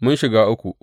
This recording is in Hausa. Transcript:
Mun shiga uku!